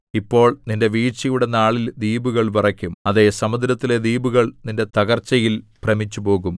ഇപ്പോൾ നിന്റെ വീഴ്ചയുടെ നാളിൽ ദ്വീപുകൾ വിറയ്ക്കും അതെ സമുദ്രത്തിലെ ദ്വീപുകൾ നിന്റെ തകർച്ചയിൽ ഭ്രമിച്ചുപോകും